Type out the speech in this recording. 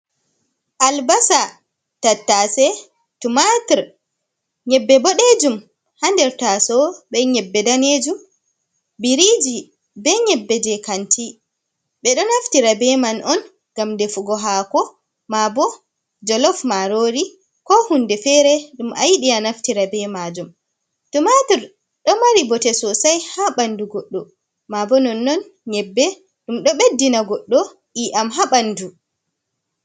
Albasa, tattase, tumator, nyebbe boɗejum, hander taso be nyebbe danejum, biriji, be nyebbe je kanti, be do naftira be man on gam de fugo hako, mabo jolof marori, ko hunde fere dum a yiɗi anaftira be majum. tumator do mari bote sosai ha bandu goddo ma bo non-non nyebbe dum do beddina goddo i'yam ha ɓandu.